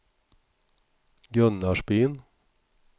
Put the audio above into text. Gunnarsbyn